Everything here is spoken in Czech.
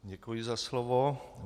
Děkuji za slovo.